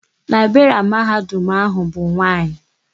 Laịberịanụ Mahadum áhụ̀ bụ nwaanyị.